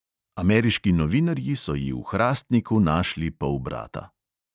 Ameriški novinarji so ji v hrastniku našli polbrata.